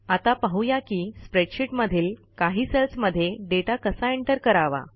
आता पाहू या की स्प्रेडशीट मधील काही सेल्समध्ये डेटा कसा एंटर करावा